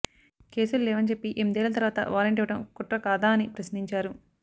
కేసులు లేవని చెప్పి ఏనిమిదేళ్ల తర్వాత వారెంట్ ఇవ్వడం కుట్ర కాదా అని ప్రశ్నించారు